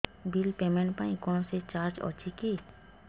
bill payment ପାଇଁ କୌଣସି charge ଅଛି କି